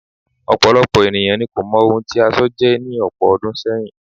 Ọ̀pọ̀lọpọ̀ ènìyàn ni kò mọ ohun tí aṣọ jẹ́ ní ọ̀pọ̀ ọdún sẹ́yìn.